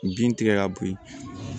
Bin tigɛ ka bo yen